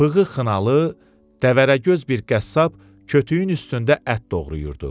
Bığı xınalı, dəvərəgöz bir qəssab kötüyün üstündə ət doğrayırdı.